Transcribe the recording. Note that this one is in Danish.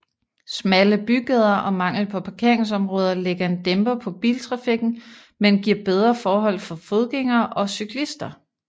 Smalle bygader og mangel på parkeringsområder lægger en dæmper på biltrafikken men giver bedre forhold for fodgængere og cyklister